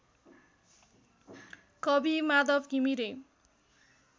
कवि माधव घिमिरे